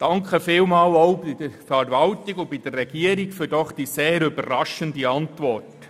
Ich bedanke mich bei der Verwaltung und der Regierung für die doch sehr überraschende Antwort.